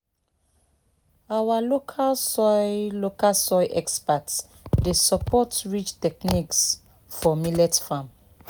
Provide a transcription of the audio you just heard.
our local soil local soil experts dey support ridge techniques for millet farm